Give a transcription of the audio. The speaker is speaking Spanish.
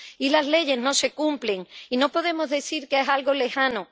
Y las leyes no se cumplen. Y no podemos decir que es algo lejano.